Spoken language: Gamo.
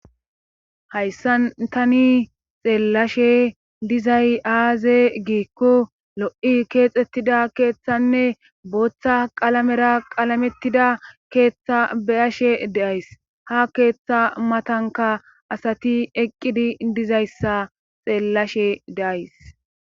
Hayssan tani xeellashe dizay aaze giikko lo'i keexettida keeththanne booththa qalamera qalamettida keeththa beyashe deays ha keeththa matanka asati eqqidi dizayssa xeellashe deays.